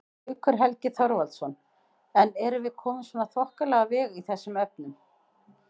Haukur Helgi Þorvaldsson: En erum við komin svona þokkalega á veg í þessum efnum?